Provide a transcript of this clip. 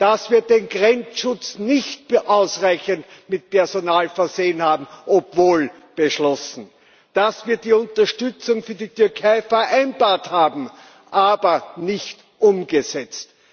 dass wir den Grenzschutz nicht ausreichend mit Personal versehen haben, obwohl beschlossen, dass wir die Unterstützung für die Türkei vereinbart haben, aber nicht umgesetzt.